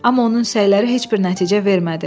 Amma onun səyləri heç bir nəticə vermədi.